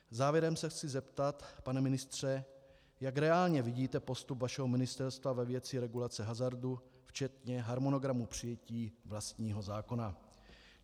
Závěrem se chci zeptat, pane ministře, jak reálně vidíte postup vašeho ministerstva ve věci regulace hazardu včetně harmonogramu přijetí vlastního zákona.